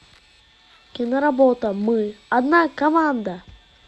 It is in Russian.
киноработа мы одна команда